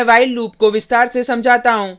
मैं while loop को विस्तार से समझाता हूँ